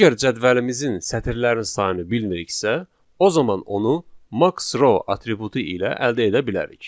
Əgər cədvəlimizin sətirlərin sayını bilmiriksə, o zaman onu max_row atributu ilə əldə edə bilərik.